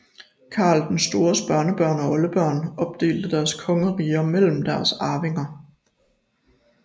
Karl den Stores børnebørn og oldebørn opdelte deres kongeriger mellem deres arvinger